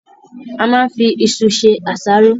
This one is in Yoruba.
A máa n fí ìṣù ṣe àsáró